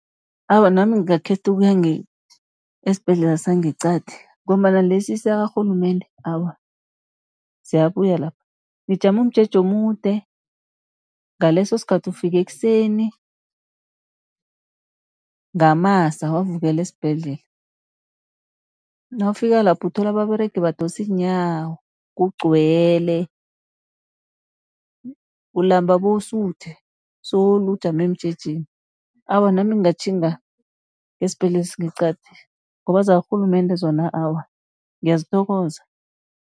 Awa, nami ngingakhetha ukuya esibhedlela sangeqadi, ngombana lesi sakarhulumende awa ziyabuya lapha. Nijama umjeje omude ngaleso sikhathi ufike ekuseni, ngamasa wavukela esibhedlela. Nawufika lapho uthola ababeregi badosa iinyawo, kugcwele, ulamba bowusuthe solo ujame emjejeni. Awa nami ngingatjhinga esibhedlela esingeqadi, ngoba zakarhulumende zona awa ngiyazithokoza.